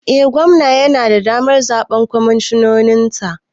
Eh gwamna yana da damar zaɓen kwamishinoninsa